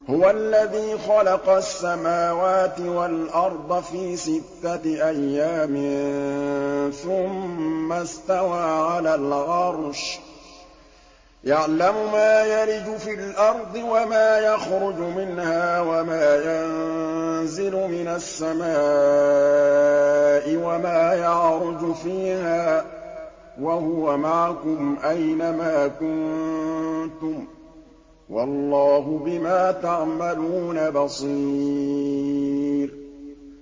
هُوَ الَّذِي خَلَقَ السَّمَاوَاتِ وَالْأَرْضَ فِي سِتَّةِ أَيَّامٍ ثُمَّ اسْتَوَىٰ عَلَى الْعَرْشِ ۚ يَعْلَمُ مَا يَلِجُ فِي الْأَرْضِ وَمَا يَخْرُجُ مِنْهَا وَمَا يَنزِلُ مِنَ السَّمَاءِ وَمَا يَعْرُجُ فِيهَا ۖ وَهُوَ مَعَكُمْ أَيْنَ مَا كُنتُمْ ۚ وَاللَّهُ بِمَا تَعْمَلُونَ بَصِيرٌ